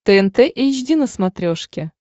тнт эйч ди на смотрешке